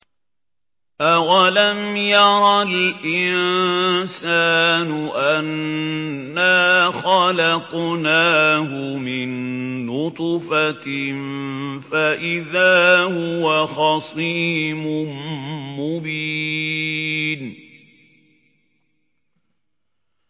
أَوَلَمْ يَرَ الْإِنسَانُ أَنَّا خَلَقْنَاهُ مِن نُّطْفَةٍ فَإِذَا هُوَ خَصِيمٌ مُّبِينٌ